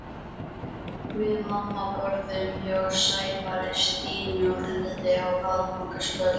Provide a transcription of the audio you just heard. Við mamma borðuðum hjá Sævari, Stínu og Herði á aðfangadagskvöld.